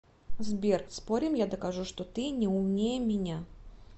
сбер спорим я докажу что ты не умнее меня